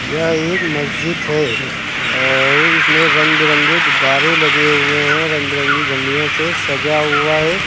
यह एक मस्जिद है और इसमें रंग बिरंगे गुब्बारे लगे हुए हैं रंग बिरंगी झंडियों से सजा हुआ है।